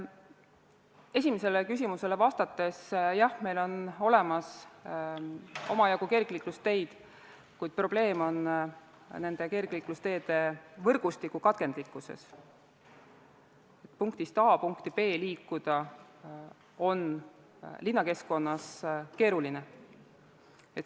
Esimesele küsimusele vastates: jah, meil on olemas omajagu kergliiklusteid, kuid probleem on nende kergliiklusteede võrgustiku katkendlikkuses, st punktist A punkti B liikuda on linnakeskkonnas keeruline.